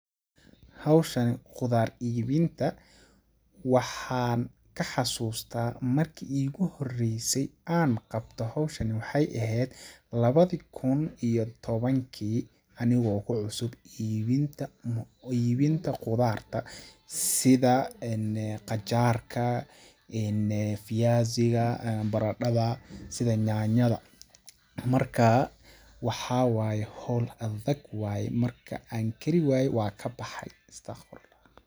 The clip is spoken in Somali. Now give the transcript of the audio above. Hawshani qudaar iibinta waxaan ka xasutaa marki iigu horeyse aan qabto hawshani waxeey eheed lawadi kun iyo tawankii anigoo ku cusub iibinta ,iibinta qudaarta ,sida qajaarka, viazi ga , baradhada ,nyanyada ,markaa waxaa waye hool adag waye ,waan kari waaye waan ka baxay ,istaqfurullah.